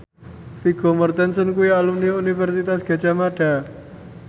Vigo Mortensen kuwi alumni Universitas Gadjah Mada